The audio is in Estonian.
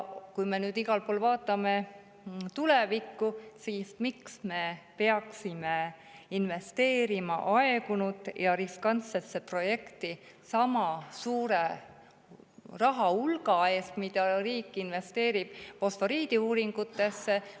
Kui me nüüd igal pool vaatame tulevikku, siis miks me peaksime investeerima aegunud ja riskantsesse projekti sama suure rahahulga, mille riik investeerib fosforiidiuuringutesse?